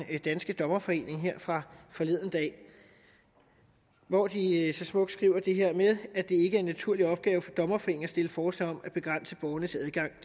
danske dommerforening fra forleden dag hvor de så smukt skriver det her med at det ikke er en naturlig opgave for dommerforeningen at stille forslag om at begrænse borgernes adgang